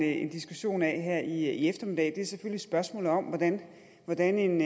en diskussion af her i eftermiddag er selvfølgelig spørgsmålet om hvordan hvordan en